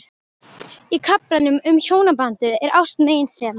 Í kaflanum um hjónabandið er ást meginþema.